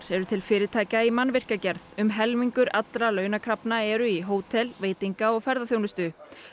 eru til fyrirtækja í mannvirkjagerð um helmingur allra launakrafna er í hótel veitinga og ferðaþjónustu